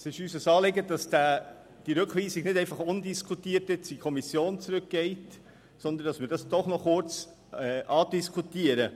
Es ist uns ein Anliegen, dass diese Rückweisung nicht einfach undiskutiert in die Kommission zurückgeht, sondern dass wir sie doch noch kurz andiskutieren.